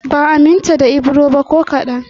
Ban aminta da Ibro ba ko kaɗan